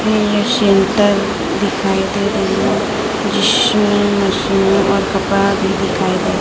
इनमें सेंटर दिखाई दे रही है जिसमें मशीन और कपड़ा भी दिखाई दे--